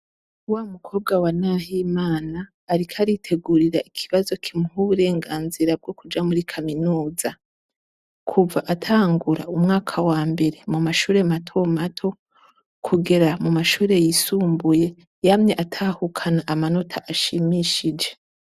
wa mukobwa wa Nahimana ariko aritegurira ikibazo kimuha uburenganzira bwo kuja muri kaminuza kuva atangura umwaka wambere mu mashuri matomato kugera mu mashuri yisumbuye yamye atahukana amanota ashimishije.